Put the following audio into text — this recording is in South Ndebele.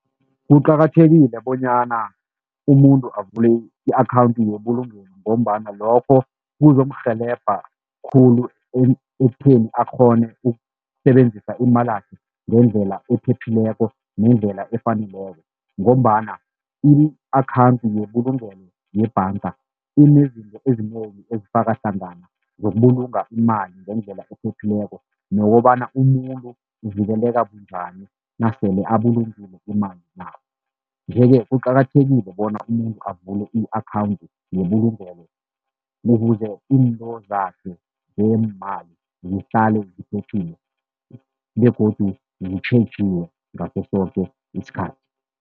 Kuqakathekile bonyana umuntu avule i-akhawundi yebulungelo ngombana lokho kuzomrhelebha khulu ekutheni akghone ukusebenzisa imalakhe ngendlela ephephileko, nendlela efaneleko ngombana i-akhawundi yebulungelo yebhanga inezinto ezinengi ezifaka hlangana zokubulunga imali ngendlela ephephileko nokobana umuntu uvikeleka bunjani nasele abulungile imali nabo, nje-ke kuqakathekile bona umuntu avule i-akhawundi yebulungelo ukuze into zakhe zeemali zihlale ziphephile begodu zitjhejiwe ngaso soke isikhathi.